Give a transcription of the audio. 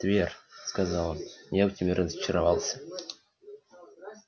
твер сказал он я в тебе разочаровался